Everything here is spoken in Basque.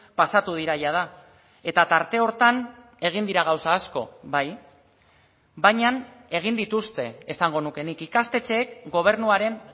pasatu dira jada eta tarte horretan egin dira gauza asko bai baina egin dituzte esango nuke nik ikastetxeek gobernuaren